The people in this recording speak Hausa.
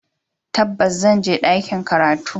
Tabbas, zan je ɗakin karatu.